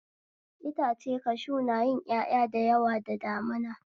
Itace kashu na yin ƴaƴa da yawa da damina